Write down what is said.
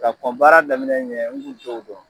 Ka kɔn baara daminɛ ɲɛ n kun t'o dɔn.